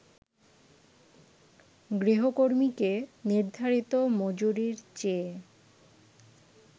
গৃহকর্মীকে নির্ধারিত মজুরির চেয়ে